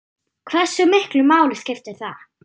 Hversu miklu máli skiptir það?